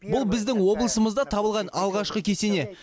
бұл біздің облысымызда табылған алғашқы кесене